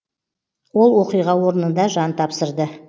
ол оқиға орнында жан тапсырды